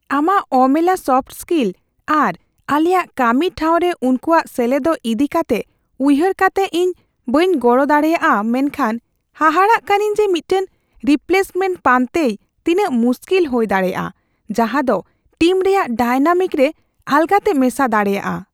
ᱟᱢᱟᱜ ᱚᱢᱮᱞᱟ soft skill ᱟᱨ ᱟᱞᱮᱭᱟᱜ ᱠᱟᱹᱢᱤ ᱴᱷᱟᱶ ᱨᱮ ᱩᱱᱠᱩᱭᱟᱜ ᱥᱮᱞᱮᱫᱚᱜ ᱤᱫᱤ ᱠᱟᱛᱮ ᱩᱭᱦᱟᱹᱨ ᱠᱟᱛᱮ, ᱤᱧ ᱵᱟᱹᱧ ᱜᱚᱲᱚ ᱫᱟᱲᱮᱭᱟᱜᱼᱟ ᱢᱮᱱᱠᱷᱟᱱ ᱦᱟᱦᱟᱲᱟ ᱠᱟᱹᱱᱟᱹᱧ ᱡᱮ ᱢᱤᱫᱴᱟᱝ ᱨᱤᱯᱞᱮᱥᱢᱮᱱᱴ ᱯᱟᱱᱛᱮᱭ ᱛᱤᱱᱟᱹᱜ ᱢᱩᱥᱠᱤᱞ ᱦᱩᱭ ᱫᱟᱲᱮᱭᱟᱜᱼᱟ ᱡᱟᱦᱟᱸᱫᱳ ᱴᱤᱢ ᱨᱮᱭᱟᱜ ᱰᱟᱭᱱᱟᱢᱤᱠ ᱨᱮ ᱟᱞᱜᱟᱛᱮ ᱢᱮᱥᱟ ᱫᱟᱲᱮᱭᱟᱜᱼᱟ ᱾